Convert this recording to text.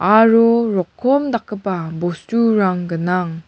aro rokom dakgipa bosturang gnang.